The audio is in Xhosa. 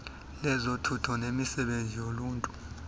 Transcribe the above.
lezothutho nemisebenzi yoluntu